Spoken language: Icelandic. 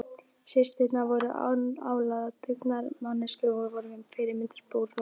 Systurnar voru annálaðar dugnaðarmanneskjur og voru með fyrirmyndarbú.